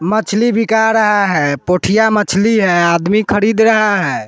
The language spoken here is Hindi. मछली बिका रहा हैं पुठिया मछली हैं आदमी खरीद रहा हैं।